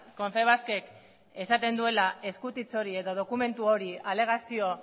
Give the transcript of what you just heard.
konfebaskek esaten duela eskutitz hori edo dokumentu hori alegazio